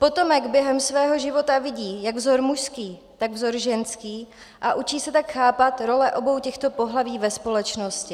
Potomek během svého života vidí jak vzor mužský, tak vzor ženský a učí se tak chápat role obou těchto pohlaví ve společnosti.